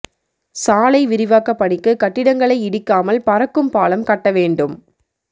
சாலை விரிவாக்க பணிக்கு கட்டிடங்களை இடிக்காமல் பறக்கும் பாலம் கட்ட வேண்டும்